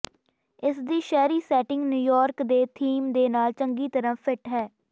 ਇਸਦੀ ਸ਼ਹਿਰੀ setting New York ਦੇ ਥੀਮ ਦੇ ਨਾਲ ਚੰਗੀ ਤਰ੍ਹਾਂ ਫਿੱਟ ਹੈ